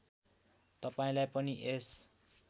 तपाईँलाई पनि यस